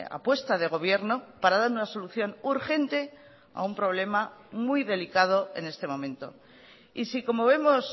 apuesta de gobierno para dar una solución urgente a un problema muy delicado en este momento y sí como vemos